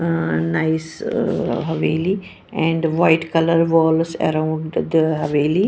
Ah Nice Haveli and white color walls around the Haveli.